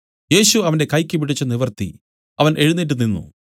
യേശു അവനെ കൈയ്ക്ക് പിടിച്ച് നിവർത്തി അവൻ എഴുന്നേറ്റ് നിന്നു